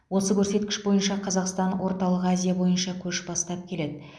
осы көрсеткіш бойынша қазақстан орталық азия бойынша көш бастап келеді